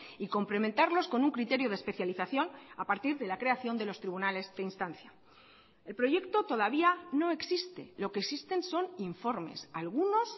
y complementarlos con un criterio de especialización a partir de la creación de los tribunales de instancia el proyecto todavía no existe lo que existen son informes algunos